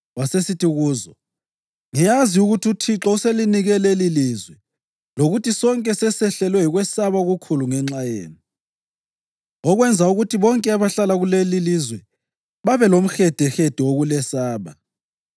wasesithi kuzo, “Ngiyazi ukuthi uThixo uselinike lelilizwe lokuthi sonke sesehlelwe yikwesaba okukhulu ngenxa yenu, okwenza ukuthi bonke abahlala kulelilizwe babelomhedehede wokulesaba.